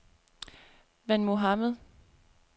Van Mohamad